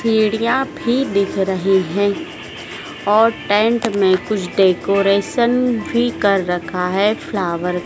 भी दिख रही हैं और टेंट में कुछ डेकोरेशन भी कर रखा है फ्लावर --